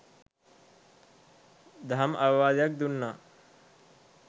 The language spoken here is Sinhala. දහම් අවවාදයක් දුන්නා.